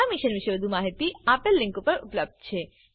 આ મિશન પરની વધુ માહિતી spoken tutorialorgnmeict ઇન્ટ્રો પર ઉપલબ્ધ છે